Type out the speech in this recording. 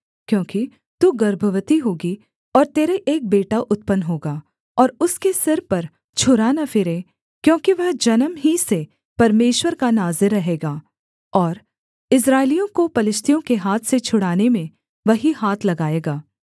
क्योंकि तू गर्भवती होगी और तेरे एक बेटा उत्पन्न होगा और उसके सिर पर छुरा न फिरे क्योंकि वह जन्म ही से परमेश्वर का नाज़ीर रहेगा और इस्राएलियों को पलिश्तियों के हाथ से छुड़ाने में वही हाथ लगाएगा